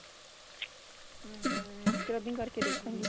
hm scrubbing ਕ਼ਰ ਕੇ ਦੇਖੁਗੀ